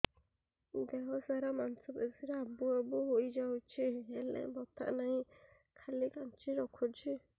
ଦେହ ସାରା ମାଂସ ପେଷି ରେ ଆବୁ ଆବୁ ହୋଇଯାଇଛି ହେଲେ ବଥା ନାହିଁ ଖାଲି କାଞ୍ଚି ରଖୁଛି